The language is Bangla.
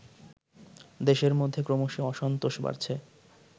দেশের মধ্যে ক্রমশই অসন্তোষ বাড়ছে